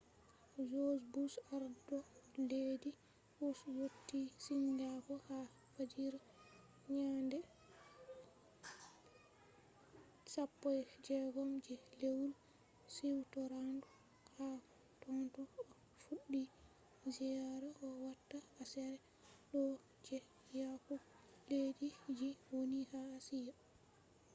joj bush arɗo leddi us yotti singapo ha fajira nyande 16 je lewru siwtorandu. ha totton o fuɗɗi ziyaara o watta aseere ɗo je yahugo leddi je woni ha ashia